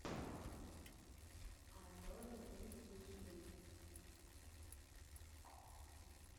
а зори здесь тихие